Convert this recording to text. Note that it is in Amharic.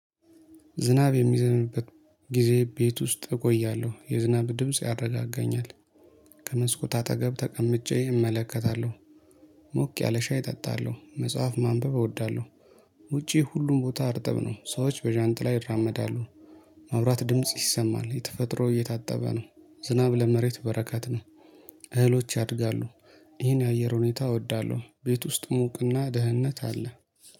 ዝናብ የሚዘንብበት ጊዜ ቤት ውስጥ እቆያለሁ የዝናብ ድምጽ ያረጋጋኛል ከመስኮት አጠገብ ተቀምጬ እመለከታለሁ። ሞቅ ያለ ሻይ እጠጣለሁ መጽሐፍ ማንበብ እወዳለሁ። ውጪ ሁሉም ቦታ አርጥብ ነው ሰዎች በዣንላ ይራመዳሉ። ማውራት ድምጽ ይሰማል የተፈጥሮ እየታጠበ ነው። ዝናብ ለመሬት በረካት ነው። እህሎች ያድጋሉ። ይህን የአየር ሁኔታ እወዳለሁ ቤት ውስጥ ሞቅና ደህንነት አለ